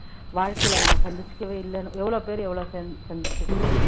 வாழ்க்கையில நம்ம சந்திச்சுக்கவே இல்லைன்னு எவ்ளோ பேரு எவ்வளவு சந்~ சந்திச்சிருக்கிறோம்